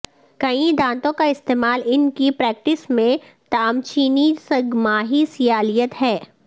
کئی دانتوں کا استعمال ان کی پریکٹس میں تامچینی سگ ماہی سیالیت ہے